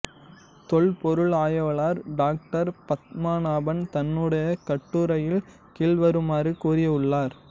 தொல் பொருள் ஆய்வாளர் டாக்டர் பத்மநாபன் தன்னுடைய கட்டுரையில் கீழ்வருமாறு கூறி உள்ளார்